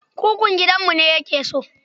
Kukun gidanmu ne yake so.